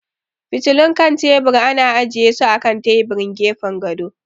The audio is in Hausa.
Fitilun kan tebur ana ajiye su a kan taburin gefen gado.